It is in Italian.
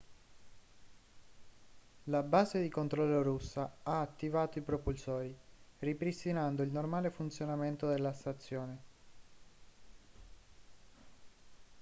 la base di controllo russa ha attivato i propulsori ripristinando il normale funzionamento della stazione